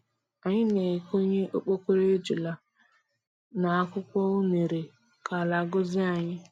Anyị na-ekonye okpokoro ejula n'akwukwọ unere ka ala gọzie anyị.